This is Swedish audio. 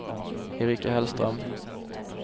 Erika Hellström